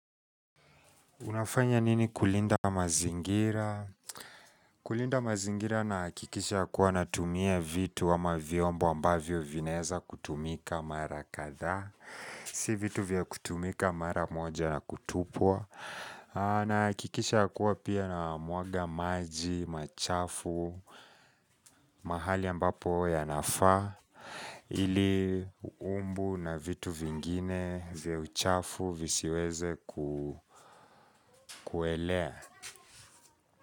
Unafanya nini kulinda mazingira? Kulinda mazingira nahakikisha kuwa natumia vitu ama vyombo ambavyo vinaeza kutumika mara kadhaa. Si vitu vya kutumika mara moja na kutupwa. Nahakikisha kuwa pia namwaga maji, machafu, mahali ambapo yanafaa. Ili umbu na vitu vingine vya uchafu visiweze kuelea.